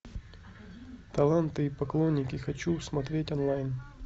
таланты и поклонники хочу смотреть онлайн